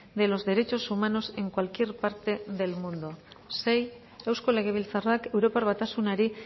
de los derechos humanos en cualquier parte del mundo sei eusko legebiltzarrak europar batasunari